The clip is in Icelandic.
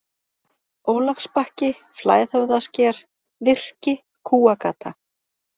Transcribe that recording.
Ólafsbakki, Flæðhöfðasker, Virki, Kúagata